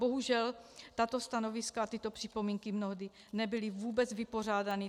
Bohužel tato stanoviska a tyto připomínky mnohdy nebyly vůbec vypořádány.